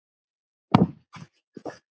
Hann passaði mig.